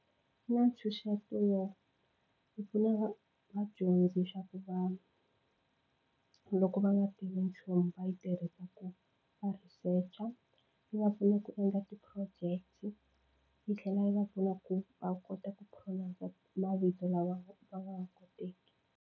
Yi na ntshunxeto wo yi pfuna va vadyondzi swa ku va loko va nga tivi nchumu va yi tirhisa ku va researcher yi va pfuna ku endla ti-project yi tlhela yi va pfuna ku va kota ku pronounce mavito lama va nga wa koteki.